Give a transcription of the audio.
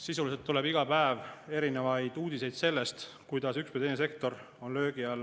Sisuliselt tuleb iga päev uudiseid sellest, kuidas üks või teine sektor on löögi all.